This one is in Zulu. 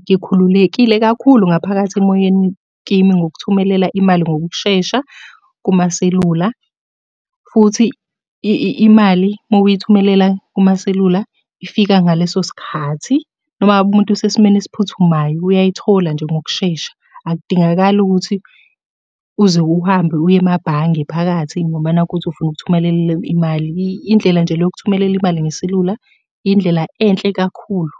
ngikhululekile kakhulu ngaphakathi emoyeni kimi ngokuthumelela imali ngokushesha kumaselula, futhi imali uma uyithumelela kumaselula ifika ngaleso sikhathi, noma ngabe umuntu usesimeni esiphuthumayo uyayithola nje ngokushesha. Akudingakali ukuthi uze uhambe uye emabhange phakathi ngoba nakhu uthi ufuna ukuthumelela imali. Indlela nje le yokuthumelela imali ngeselula, indlela enhle kakhulu.